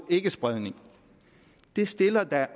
ikkespredning det stiller